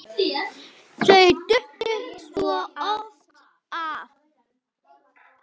Þau duttu svo oft af.